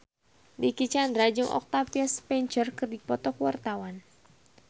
Dicky Chandra jeung Octavia Spencer keur dipoto ku wartawan